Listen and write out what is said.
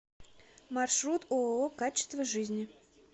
маршрут ооо качество жизни